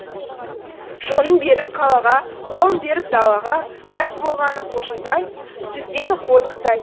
жонын беріп қалаға қолын беріп далаға мәз болғаны сүзенгені қодықтай